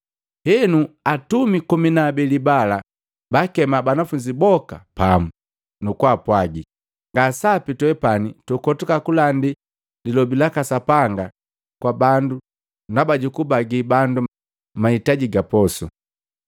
Henu atumi komi na abeli bala baakema banafunzi boka pamu, nukupwaga, “Nga sapi twepani tukotuka kulandii lilobi laka Sapanga kwa bandu ndaba jukubagii bandu mahitaji ga posu.